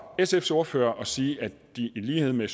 sfs ordfører og sige at de i lighed med